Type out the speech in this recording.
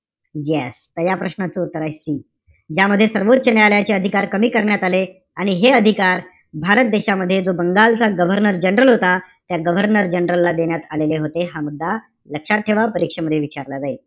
Yes पहिल्या प्रश्नाचं उत्तर आहे C. ज्यामध्ये सर्वोच्च न्यायालयाचे अधिकार कमी करण्यात आले. आणि हे अधिकार भारत देशामध्ये, जो बंगालचा governor general होता. त्या governor general ला देण्यात आलेले होते. हा मुद्दा लक्षात ठेवा. परीक्षेमध्ये विचारला जाईल.